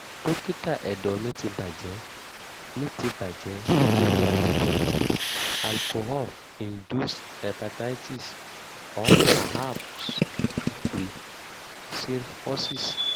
dókítà ẹ̀dọ̀ mi ti bàjẹ́ mi ti bàjẹ́ nítorí àmujù ọtí alcohol-induced hepatitis or perhaps pre-cirrhosis